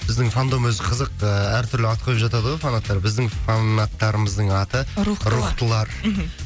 біздің фандом өзі қызық ыыы әртүрлі ат қойып жатады ғой фанаттар біздің фанаттыларымыздың аты рухтылар рухтылар мхм